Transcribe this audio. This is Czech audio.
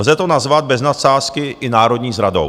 Lze to nazvat bez nadsázky i národní zradou.